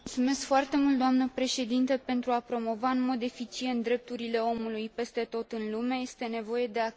Pentru a promova în mod eficient drepturile omului peste tot în lume este nevoie de acțiuni și măsuri concrete.